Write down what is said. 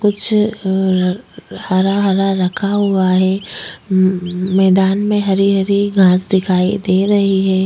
कुछ हरा हरा हरा रखा हुआ है म-म मैदान में हरी हरी घास दिखाई दे रही है।